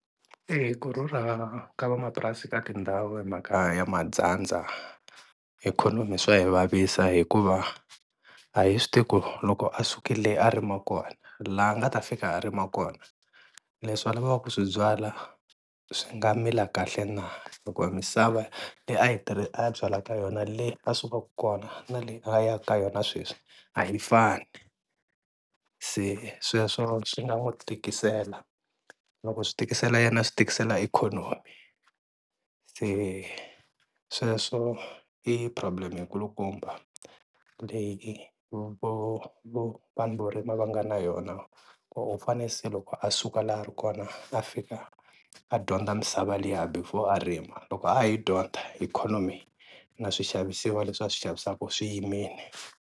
E-e, ku rhurha ka van'wamapurasi ka tindhawu hi mhaka ya ma dyandza, ikhonomi swa yi vavisa hikuva a hi swi tivi ku loko a sukile le a rima kona, la a nga ta fika a rima kona leswi a lavaka ku swi byala swi nga mila kahle na? Loko misava leyo A byala ka yona le a sukaka kona na leyi a ya ka ka yona sweswi a yi fani, se sweswo swi nga n'wi tikisela loko swi tikisela yena swi tikisela ikhonomi, se sweswo i problem yikulukumba leyi vo vo vanhu vo rima va nga na yona, u fane se loko a suka la a ri kona a fika a dyondza misava liya before a rima loko a ha yi dyondza ikhonomi na swixavisiwa leswi a swi xavisaka swi yimile.